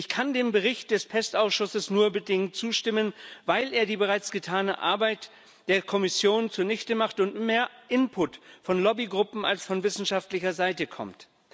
Ich kann dem Bericht des PEST Ausschusses nur bedingt zustimmen, weil er die bereits getane Arbeit der Kommission zunichtemacht und mehr Input von Lobbygruppen als von wissenschaftlicher Seite kommt.